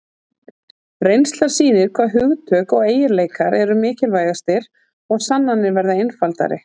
reynslan sýnir hvaða hugtök og eiginleikar eru mikilvægastir og sannanir verða einfaldari